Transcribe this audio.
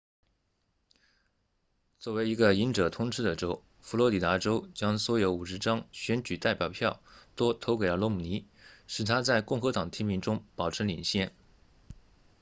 作为一个赢者通吃的州佛罗里达州将所有50张选举代表票都投给了罗姆尼使他在共和党提名中保持领先